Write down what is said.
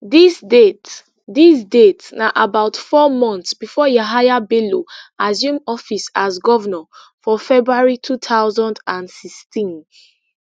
dis date dis date na about four months before yahaya bello assume office as govnor for february two thousand and sixteen